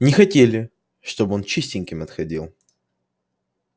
не хотели чтобы он чистеньким отходил